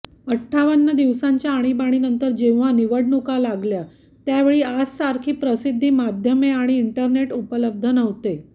अठ्ठावन्न दिवसांच्या आणीबाणीनंतर जेव्हा निवडणुका लागल्या त्यावेळी आजसारखी प्रसिद्धीमाध्यमे आणि इंटरनेट उपलब्ध नव्हते